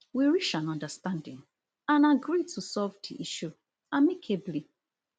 we reach an understanding and agree to resolve di issue amicably